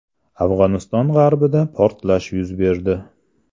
Afg‘oniston g‘arbida portlash yuz berdi.